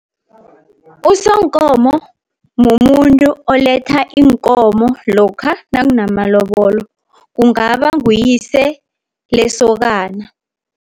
Usonkomo mumuntu oletha iinkomo lokha nakunamalobolo, kungaba nguyise lesokana.